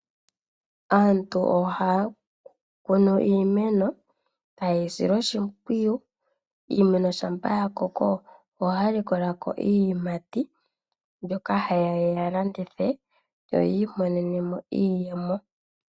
Aantu ohaya kunu iimeno taye yi sile oshimpwiyu. Iimeno shampa ya koko ohaya likola ko iiyimati mbyoka haye ya ye yi landithe yo yi imonene mo iiyemo.